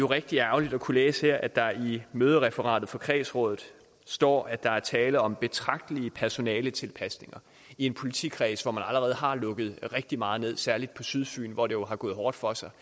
rigtig ærgerligt at kunne læse her at der i mødereferatet fra kredsrådet står at der er tale om betragtelige personaletilpasninger i en politikreds hvor man allerede har lukket rigtig meget ned særlig på sydfyn hvor det jo har gået hårdt for sig